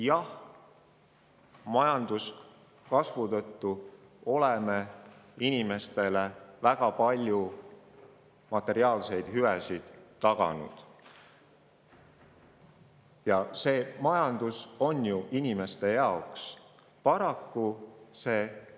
Jah, tänu majanduskasvule oleme inimestele taganud väga palju materiaalseid hüvesid, sest majandus on ju inimeste jaoks.